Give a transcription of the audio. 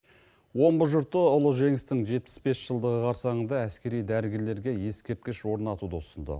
омбы жұрты ұлы жеңістің жетпіс бес жылдығы қарсаңында әскери дәрігерлерге ескерткіш орнатуды ұсынды